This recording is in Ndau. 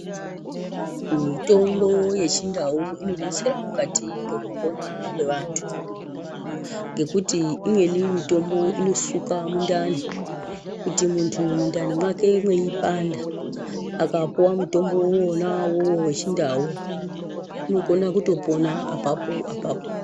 Mitombo yechindau inodetsera mukati mwekupona kwevantu, ngekuti imweni mutombo inosuka mundani. Kuti muntu mundani mwake mweipanda, akapuwa mutombo uwona wechindau, unokona kutopona apapo-apapo.